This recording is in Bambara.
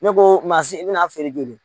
Ne ko mansin i bɛn'a feere joli?